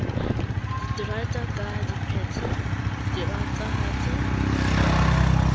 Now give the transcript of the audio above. diterata ka dipeta radiphaphatha a